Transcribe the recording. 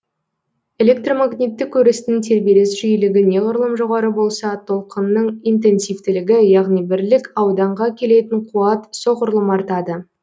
электромагниттік өрістің тербеліс жиілігі неғұрлым жоғары болса толқынның интенсивтілігі яғни бірлік ауданға келетін қуат соғұрлым артады